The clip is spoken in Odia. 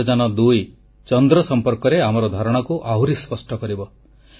ଚନ୍ଦ୍ରଯାନ2 ଚନ୍ଦ୍ର ସମ୍ପର୍କରେ ଆମର ଧାରଣାକୁ ଆହୁରି ସ୍ପଷ୍ଟ କରିବ